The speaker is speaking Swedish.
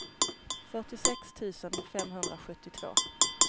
fyrtiosex tusen femhundrasjuttiotvå